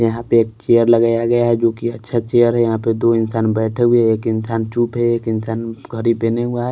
यहां पे एक चेयर लगाया गया है जो कि अच्छा चेयर है यहां पे दो इंसान बैठे हुए हैं एक इंसान चूप है एक इंसान घड़ी पहना हुआ है।